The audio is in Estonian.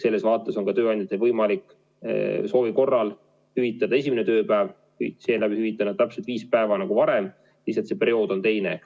Selles vaates on tööandjatel võimalik soovi korral hüvitada ka esimene tööpäev ja seeläbi hüvitavad nad täpselt viis päeva nagu varem, lihtsalt see periood on teine.